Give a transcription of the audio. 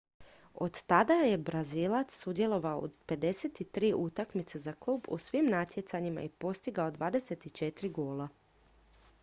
od tada je brazilac sudjelovao u 53 utakmice za klub u svim natjecanjima i postigao 24 gola